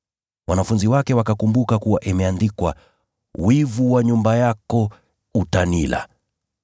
Wanafunzi wake wakakumbuka kuwa imeandikwa: “Wivu wa nyumba yako utanila.”